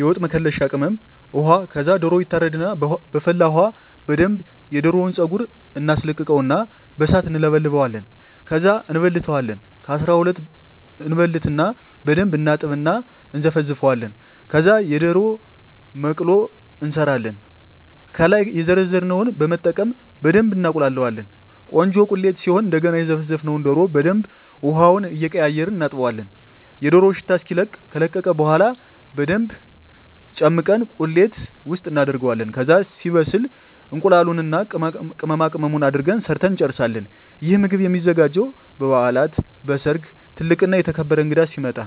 የወጥ መከለሻ ቅመም፣ ውሃ ከዛ ደሮው ይታረድና በፈላ ውሀ በደንብ የደሮውን ፀጉር እናስለቅቀውና በሣት እንለበልበዋለን። ከዛ እንበልተዋለን ከ12 እበልትና በደንብ እናጥብና እና እነዘፈዝፈዋለን። ከዛ የደሮ መቅሎ እንሠራለን። ከላይ የዘረዘርነውን በመጠቀም በደብ እናቁላላዋለን ቆንጆ ቁሌት ሲሆን እደገና የዘፈዘፍነውን ደሮ በደንብ ውሀውን እየቀያየርን እናጥበዋለን የደሮው ሽታ እስኪለቅ። ከለቀቀ በኋላ በደንብ ጨምቀን ቁሌት ውስጥ እናደርገዋለን። ከዛ ሲበስል እቁላሉን እና ቅመማቅመሙን አድርገን ሠርተን እንጨርሣለን። ይህ ምግብ የሚዘጋጀው በበዓላት፣ በሠርግ፣ ትልቅ እና የተከበረ እንግዳ ሲመጣ።